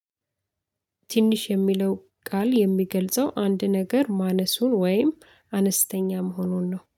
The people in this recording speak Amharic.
ትንሽ የሚለው ቃል የሚገልጸው አንድ ነገር ማነሱን ወይም አነስተኛ መሆኑን ነው።